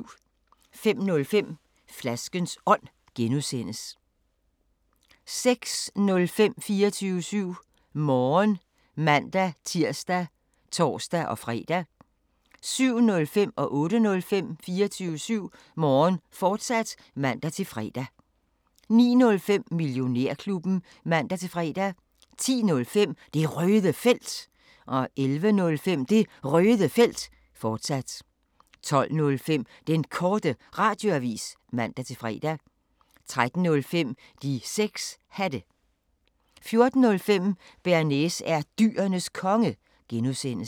05:05: Flaskens Ånd (G) 06:05: 24syv Morgen (man-tir og tor-fre) 07:05: 24syv Morgen, fortsat (man-fre) 08:05: 24syv Morgen, fortsat (man-fre) 09:05: Millionærklubben (man-fre) 10:05: Det Røde Felt 11:05: Det Røde Felt, fortsat 12:05: Den Korte Radioavis (man-fre) 13:05: De 6 Hatte 14:05: Bearnaise er Dyrenes Konge (G)